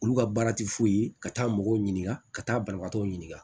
Olu ka baara tɛ fosi ye ka taa mɔgɔw ɲininka ka taa banabagatɔw ɲininka